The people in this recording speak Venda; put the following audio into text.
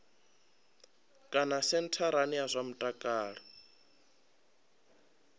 kana sentharani ya zwa mutakalo